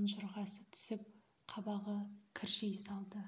ұнжырғасы түсіп қабағы кіржи қалды